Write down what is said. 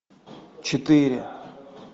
четыре